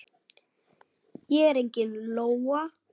Ég er engin lóa.